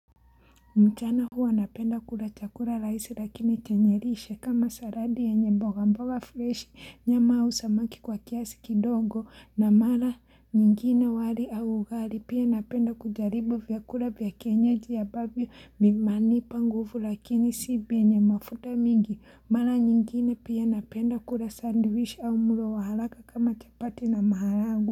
Mchana huwa napenda kula chakura rahisi lakini chenyelishe kama saladi yenye mboga mboga fresh nyama usamaki kwa kiasi kidongo na mala nyingine wali au ugali pia napenda kujaribu vyakula vya kienyaji ya babi mmanipa nguvu lakini si vyenye mafuta mingi mala nyingine pia napenda kula sandwich au mulo wahalaka kama chapati na mahalagwe.